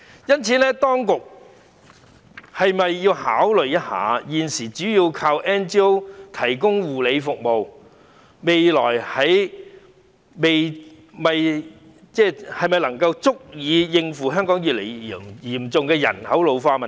因此，當局是否要考慮一下，現時主要靠 NGO 提供護理服務的安排是否足以應付香港越來越嚴重的人口老化問題？